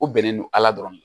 U bɛnnen don ala dɔrɔn de